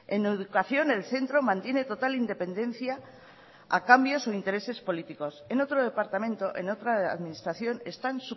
en educación el centro mantiene total independencia a cambio de sus intereses políticos en otro departamento en otra administración están